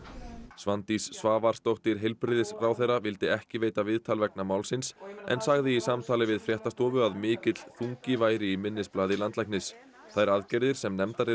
Svandís Svavarsdóttir heilbrigðisráðherra vildi ekki veita viðtal vegna málsins en sagði í samtali við fréttastofu að mikill þungi væri í minnisblaði landlæknis þær aðgerðir sem nefndar eru